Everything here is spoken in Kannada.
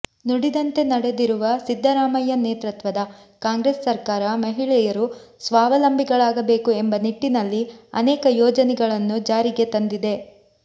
ನುಡಿದಂತೆ ನಡೆದಿರುವ ಸಿದ್ದರಾಮಯ್ಯ ನೇತೃತ್ವದ ಕಾಂಗ್ರೆಸ್ ಸರ್ಕಾರ ಮಹಿಳೆಯರು ಸ್ವಾವಲಂಬಿಗಳಾಬೇಕು ಎಂಬ ನಿಟ್ಟಿನಲ್ಲಿ ಅನೇಕ ಯೋಜನೆಗಳನ್ನುಜಾರಿಗೆ ತಂದಿದೆ